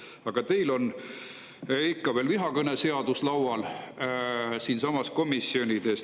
Aga teil on ikka veel vihakõne seadus laual siinsamas komisjonides.